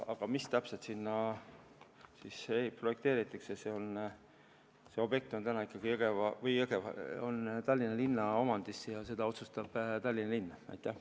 Aga mis täpselt sinna projekteeritakse, seda otsustab Tallinna linn, sest see objekt on täna ikkagi Tallinna linna omandis.